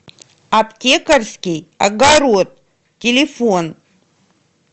аптекарский огород телефон